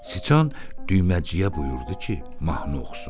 Çıçan düyməciyə buyurdu ki, mahnı oxusun.